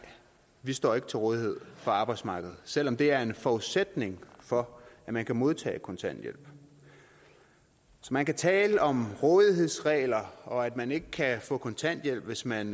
de står ikke til rådighed for arbejdsmarkedet selv om det er en forudsætning for at man kan modtage kontanthjælp så man kan tale om rådighedsregler og om at man ikke kan få kontanthjælp hvis man